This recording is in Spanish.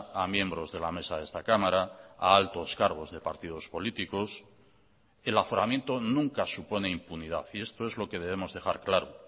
a miembros de la mesa de esta cámara a altos cargos de partidos políticos el aforamiento nunca supone impunidad y esto es lo que debemos dejar claro